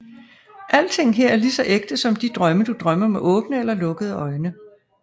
Alting her er ligeså ægte som de drømme du drømmer med åbne eller lukkede øjne